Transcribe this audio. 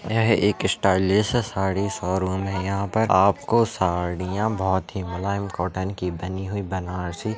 यह एक stylist sari showroom है। यह पर आपको साड़िया बहुतही मुलायम कटन की बनी हुई बनारसी--